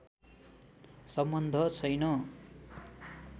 सम्बन्ध छैन